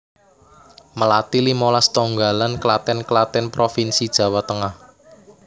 Melati limolas Tonggalan Klaten Klaten provinsi Jawa Tengah